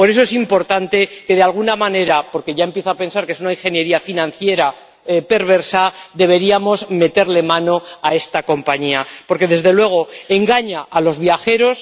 Por eso considero que, de alguna manera —porque ya empiezo a pensar que es una ingeniería financiera perversa—, deberíamos meterle mano a esta compañía porque, desde luego, engaña a los viajeros.